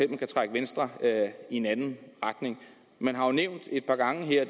kan trække venstre i en anden retning man har jo nævnt et par gange her